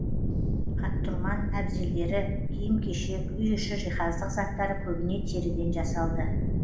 аттұрман әбзелдері киім кешек үй іші жиһаздық заттары көбіне теріден жасалды